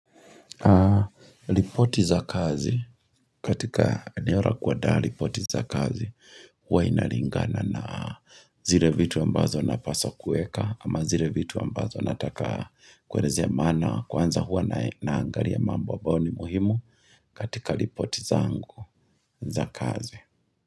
Lipoti za kazi, katika eneo la kuadaa lipoti za kazi Huwa inaringana na zile vitu ambazo napaswa kueka ama zile vitu ambazo nataka kuelezea maana Kwanza huwa na angalia mambo ambao ni muhimu katika lipoti za angu za kazi.